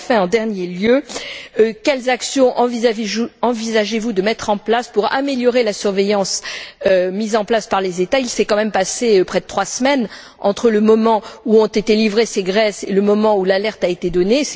Et, enfin, en dernier lieu, quelles actions envisagez vous de mettre en place pour améliorer la surveillance établie par les États? Il s'est quand même passé près de trois semaines entre le moment où ont été livrées ces graisses et le moment où l'alerte a été donnée.